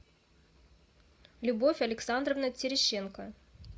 любовь александровна терещенко